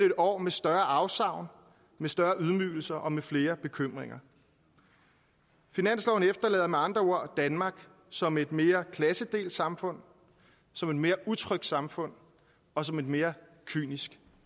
et år med større afsavn med større ydmygelser og med flere bekymringer finansloven efterlader med andre ord danmark som et mere klassedelt samfund som et mere utrygt samfund og som et mere kynisk